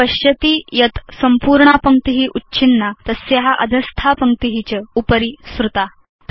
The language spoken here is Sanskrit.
भवान् पश्यति यत् सम्पूर्णा पङ्क्ति उच्छिन्ना तस्या अधस्था पङ्क्ति च उपरि सृता